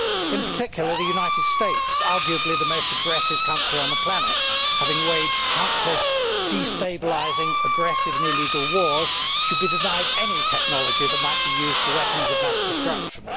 In particular, the United States arguably the most aggressive country on the planet, having waged countless destabilising, aggressive and illegal wars should be denied any technology that might be used for weapons of mass destruction.